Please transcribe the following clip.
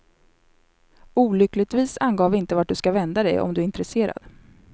Olyckligtvis angav vi inte vart du ska vända dig om du är intresserad.